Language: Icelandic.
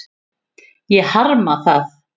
Ég harma það.